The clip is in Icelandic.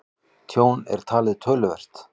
Tjón er talið töluvert